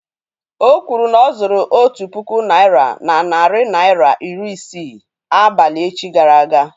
Okwuru na ọ̀ zuru nri otu puku naị́ra na narị naịra ra iri isii abalị echi gara aga